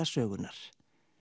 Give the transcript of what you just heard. sögunnar